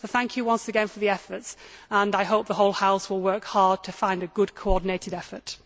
So, thank you once again for your efforts, and I hope the whole House will work hard to find a good coordinated effort.